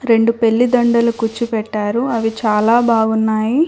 రెండు పెళ్ళి దండలు కుచ్చు పెట్టారు. అవి చాలా బాగున్నాయి.